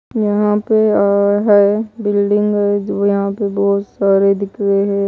यहां पे और है बिल्डिंग जो यहां पे बहुत सारे दिख रहे है।